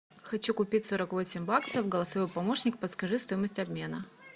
хочу купить сорок восемь баксов голосовой помощник подскажи стоимость обмена